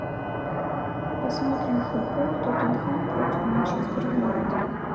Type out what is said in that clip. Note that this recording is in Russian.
посмотрим футбол тоттенхэм против манчестер юнайтед